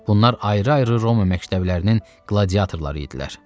Bunlar ayrı-ayrı Roma məktəblərinin qladiatorları idilər.